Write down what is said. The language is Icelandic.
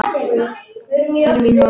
Fyrir mín orð.